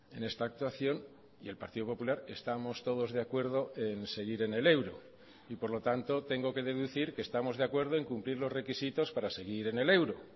en esta actuación y el partido popular estamos todos de acuerdo en seguir en el euro y por lo tanto tengo que deducir que estamos de acuerdo en cumplir los requisitos para seguir en el euro